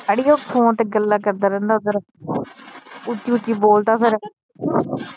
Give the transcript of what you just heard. ਅੜੀਏ ਉਹ ਫੋਨ ਤੇ ਗੱਲਾਂ ਕਰਦਾ ਰਹਿੰਦਾ ਓਧਰ ਉੱਚੀ ਉੱਚੀ ਬੋਲਦਾ ਫਿਰ